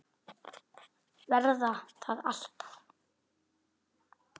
Verða það alltaf.